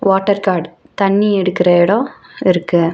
Water காட் தண்ணி எடுக்குற எடோ இருக்கு.